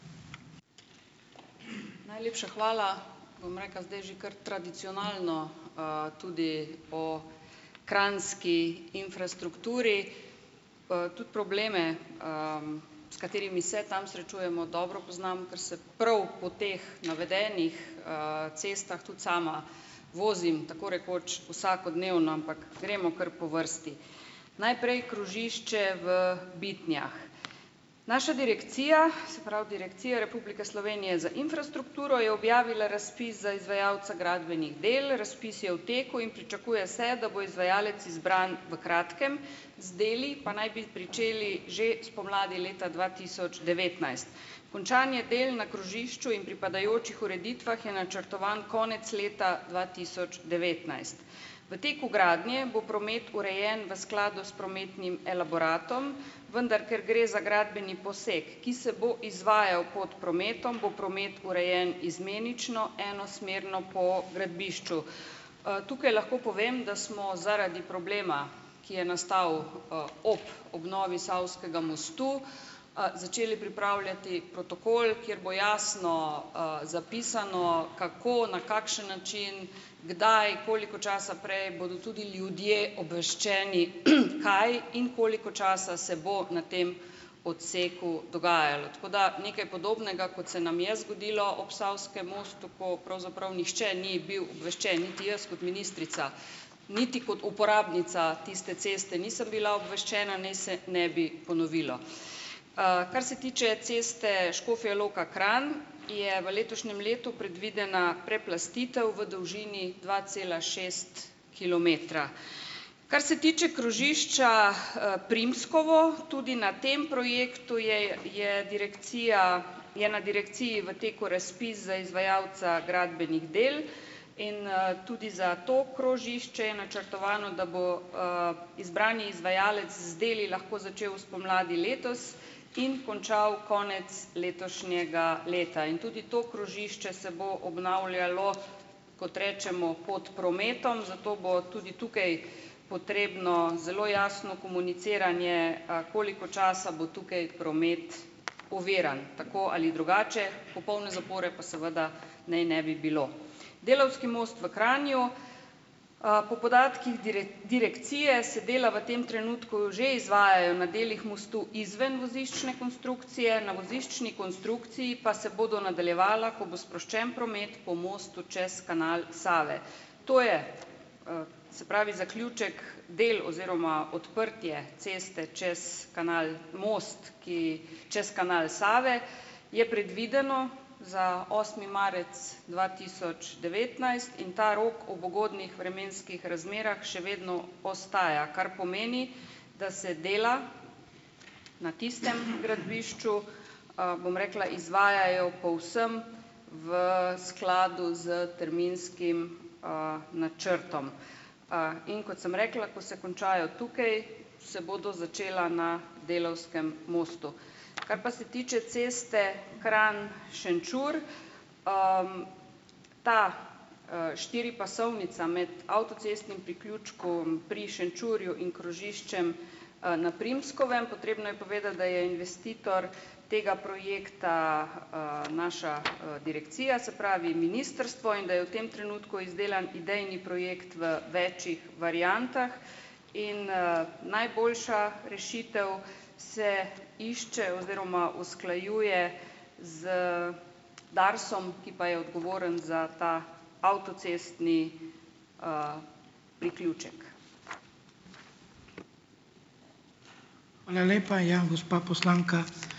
Najlepša hvala. Bom rekla, zdaj že kar tradicionalno, tudi o kranjski infrastrukturi. Tudi probleme, s katerimi se tam srečujemo, dobro poznam, ker se prav po teh navedenih, cestah tudi sama vozim tako rekoč vsakodnevno, ampak gremo kar po vrsti. Najprej krožišče v Bitnjah. Naša direkcija, se pravi, Direkcija Republike Slovenije za infrastrukturo, je objavila razpis za izvajalca gradbenih del, razpis je v teku in pričakuje se, da bo izvajalec izbran v kratkem, z deli pa naj bi pričeli že spomladi leta dva tisoč devetnajst. Končanje del na krožišču in pripadajočih ureditvah je načrtovan konec leta dva tisoč devetnajst. V teku gradnje bo promet urejen v skladu s prometnim elaboratom, vendar ker gre za gradbeni poseg, ki se bo izvajal pod prometom, bo promet urejen izmenično enosmerno po gradbišču. Tukaj lahko povem, da smo zaradi problema, ki je nastal, ob obnovi Savskega mostu, začeli pripravljati protokol, kjer bo jasno, zapisano kako, na kakšen način, kdaj, koliko časa prej bodo tudi ljudje obveščeni, kaj in koliko časa se bo na tem odseku dogajalo. Tako da nekaj podobnega, kot se nam je zgodilo ob Savskem mostu, ko pravzaprav nihče ni bil obveščen, niti jaz kot ministrica niti kot uporabnica tiste ceste nisem bila obveščena, naj se ne bi ponovilo. Kar se tiče ceste Škofja Loka-Kranj, je v letošnjem letu predvidena preplastitev v dolžini dva cela šest kilometra. Kar se tiče krožišča, Primskovo, tudi na tem projektu je je direkcija, je na direkciji v teku razpis za izvajalca gradbenih del in, tudi za to krožišče je načrtovano, da bo, izbrani izvajalec z deli lahko začel spomladi letos in končal konec letošnjega leta. In tudi to krožišče se bo obnavljalo, kot rečemo, pod prometom, zato bo tudi tukaj potrebno zelo jasno komuniciranje, koliko časa bo tukaj promet oviran, tako ali drugače, popolne zapore pa seveda naj ne bi bilo. Delavski most v Kranju. Po podatkih direkcije se dela v tem trenutku že izvajajo na delih mostu izven voziščne konstrukcije. Na voziščni konstrukciji pa se bodo nadaljevala, ko bo sproščen promet po mostu čez kanal Save. To je, se pravi, zaključek del oziroma odprtje ceste čez kanal, most, ki čez kanal Save, je predvideno za osmi marec dva tisoč devetnajst, in ta rok ob ugodnih vremenskih razmerah še vedno ostaja, kar pomeni, da se dela na tistem gradbišču, bom rekla, izvajajo povsem v skladu s terminskim, načrtom. In kot sem rekla, ko se končajo tukaj, se bodo začela na Delavskem mostu. Kar pa se tiče ceste Kranj-Šenčur. Ta, štiripasovnica med avtocestnim priključkom pri Šenčurju in krožiščem, na Primskovem. Potrebno je povedati, da je investitor tega projekta, naša, direkcija, se pravi, ministrstvo, in da je v tem trenutku izdelan idejni projekt v večih variantah in, najboljša rešitev se išče oziroma usklajuje z Darsom, ki pa je odgovoren za ta avtocestni, priključek.